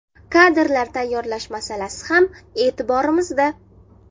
Kadrlar tayyorlash masalasi ham e’tiborimizda.